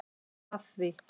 af því.